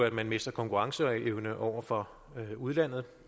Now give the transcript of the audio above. at man mister konkurrenceevne over for udlandet